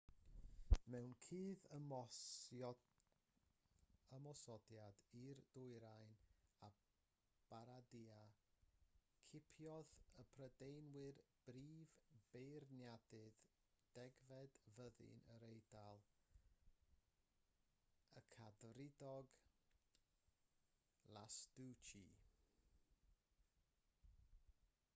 mewn cudd-ymosodiad i'r dwyrain o bardia cipiodd y prydeinwyr brif beiriannydd degfed fyddin yr eidal y cadfridog lastucci